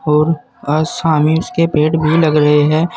और आ सामे इसके पेड़ भी लग रहे हैं।